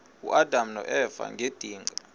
uadam noeva ngedinga